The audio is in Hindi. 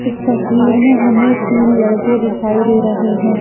इस तस्वीर में हमें तीन लड़के दिखाई दे रहे हैं।